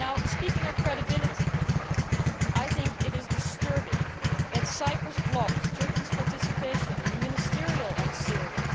Speaking of credibility, I think it is disturbing that Cyprus blocked Turkey's participation in the Foreign Affairs Council on Syria.